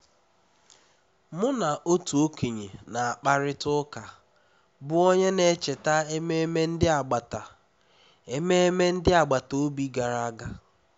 mụ na otu okenye na-akparịta ụka bụ́ onye na-echeta ememe ndị agbata ememe ndị agbata obi gara aga